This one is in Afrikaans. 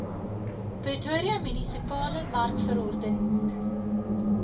pretoria munisipale markverordening